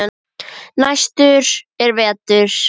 Næstur er Vetur.